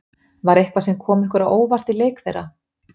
Var eitthvað sem kom ykkur á óvart í leik þeirra?